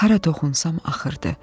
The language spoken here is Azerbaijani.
Hara toxunsam axırdı.